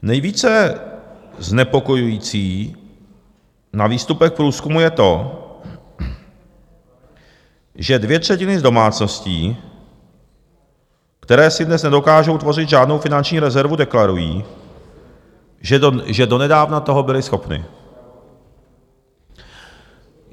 Nejvíce znepokojující na výstupech průzkumu je to, že dvě třetiny z domácností, které si dnes nedokážou tvořit žádnou finanční rezervu, deklarují, že donedávna toho byly schopny.